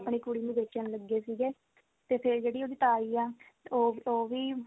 ਆਪਣੀ ਕੁੜੀ ਨੂੰ ਵੇਚਣ ਲੱਗੇ ਸੀਗੇ ਤੇ ਫਿਰ ਜਿਹੜੀ ਉਹਦੀ ਤਾਈ ਆ ਉਹ ਉਹ ਵੀ